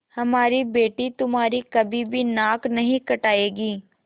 हमारी बेटी तुम्हारी कभी भी नाक नहीं कटायेगी